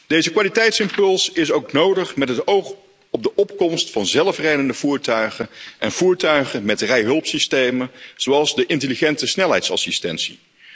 Deze kwaliteitsimpuls is ook nodig met het oog op de opkomst van zelfrijdende voertuigen en voertuigen met rijhulpsystemen, zoals de intelligente snelheidsassistentie.